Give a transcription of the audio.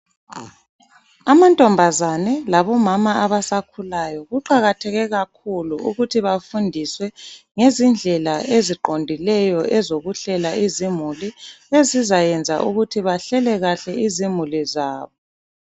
Amantombazane labomama abasakhulayo kuqakatheke kakhulu ukuthi bafundiswe ngezindlela eziqondileyo ezokuhlela izimuli ezizayenza ukuthi bahlele kahle izimuli zabo.